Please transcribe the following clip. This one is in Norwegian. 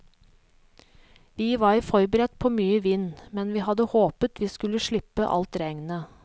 Vi var forberedt på mye vind, men vi hadde håpet vi skulle slippe alt regnet.